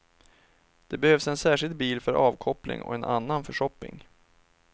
Det behövs en särskild bil för avkoppling och en annan för shopping.